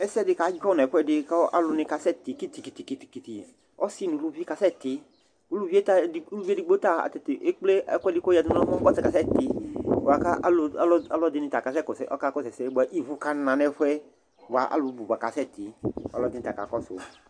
Ɛsɛ dɩ kadzɔ nʋ ɛfʋɛdɩ kʋ alʋ kasɛtɩ kiti-kiti-kiti Ɔsɩ nʋ uluvi kasɛtɩ uluvi yɛ ta uluvi edigbo ta ekple ɛkʋɛdɩ kʋ ayɔyǝdu nʋ ɛmɔ kʋ ɔta kasɛtɩ bʋa kʋ ɔlʋ alʋɛdɩnɩ ta kasɛkɔsʋ, ɔkakɔsʋ ɛsɛ bʋa ivu kana nʋ ɛfʋ yɛ bʋa alʋ bʋ ba kasɛtɩ Ɔlɔdɩ ta kakɔsʋ